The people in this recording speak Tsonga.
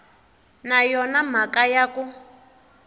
na yona mhaka ya ku